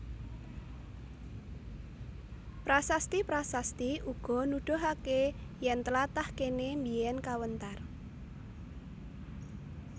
Prasasti prasasti uga nudhuhake yen tlatah kene mbiyen kawentar